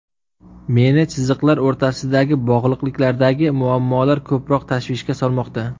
Meni chiziqlar o‘rtasidagi bog‘liqliklardagi muammolar ko‘proq tashvishga solmoqda.